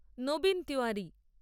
Nabin Tiwari